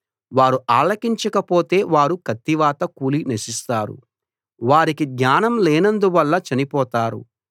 వారు ఆలకించక పోతే వారు కత్తివాత కూలి నశిస్తారు వారికి జ్ఞానం లేనందువల్ల చనిపోతారు